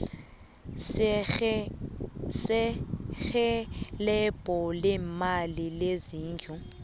serhelebho leemali lezindlu